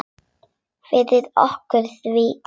Forðum okkur því.